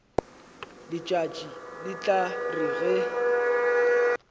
letšatši le tla re ge